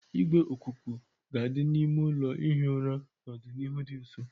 Igwe ikuku ga-adị n'ime ụlọ ihi ụra n'ọdịnihu dị nso